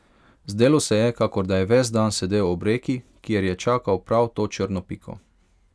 Zdelo se je, kakor da je ves dan sedel ob reki, ker je čakal prav to črno piko.